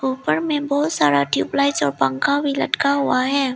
ऊपर में बहुत सारा ट्यूब लाइट्स और पंखा भी लटका हुआ है।